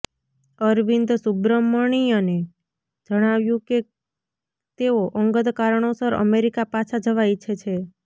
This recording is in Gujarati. અરવિંદ સુબ્રમણ્યને જણાવ્યું છે કે તેઓ અંગત કારણોસર અમેરિકા પાછા જવા ઇચ્છે છે